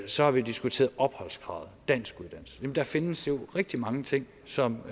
så har vi diskuteret opholdskravet danskuddannelsen jamen der findes jo rigtig mange ting som